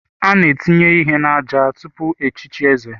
A na-etinye ihe n'àjà tupu echichi eze.